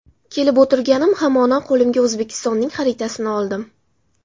Kelib o‘tirganim hamono qo‘limga O‘zbekistonning xaritasini oldim.